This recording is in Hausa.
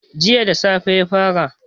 Jiya da safe ya fara